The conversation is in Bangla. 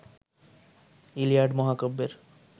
ইলিয়াড মহাকাব্যের